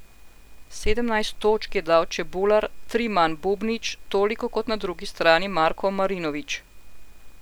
Sedemnajst točk je dal Čebular, tri manj Bubnić, toliko kot na drugi strani Marko Marinović.